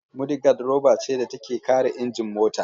Mudigad roba ce da take kare injin mota.